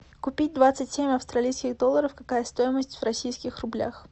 купить двадцать семь австралийских долларов какая стоимость в российских рублях